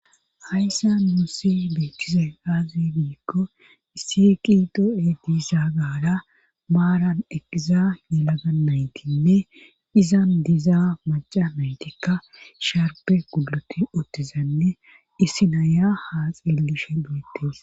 Hayssa muussi beettize aazi giikko issi qi do7e diisa gaara maaran eqiza yelaganaytinne izan dizaa maca maytikka sharpe guloti ottizanne issi naya haa xilishe boetes